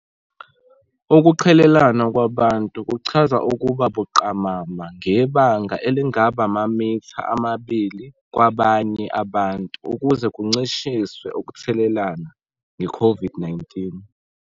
Ukuqhelelana kwabantu kuchaza ukuba buqamama ngebanga elingaba amamitha amabili kwabanye abantu ukuze kuncishiswe ukuthelelana ngeCOVID -19.